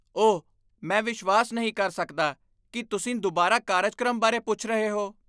ਓਹ, ਮੈਂ ਵਿਸ਼ਵਾਸ ਨਹੀਂ ਕਰ ਸਕਦਾ ਕਿ ਤੁਸੀਂ ਦੁਬਾਰਾ ਕਾਰਜਕ੍ਰਮ ਬਾਰੇ ਪੁੱਛ ਰਹੇ ਹੋ!